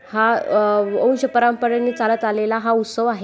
हा अ वंश परंपरेने चालत आलेला हा उत्सव आहे.